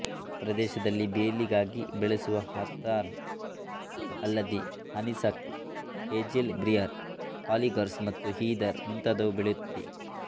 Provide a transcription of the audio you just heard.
ಗ್ರಾಮ ಪ್ರದೇಶದಲ್ಲಿ ಬೇಲಿಗಾಗಿ ಬೆಳೆಸುವ ಹಥಾರ್ನ್ ಅಲ್ಲದೆ ಹನಿಸಕ್ಲ್ ಹೇಜೆಲ್ ಬ್ರಿಯರ್ ಹಾಲಿಗಾರ್ಸ್ ಮತ್ತು ಹೀದರ್ ಮುಂತಾದವು ಬೆಳೆಯುತ್ತದೆ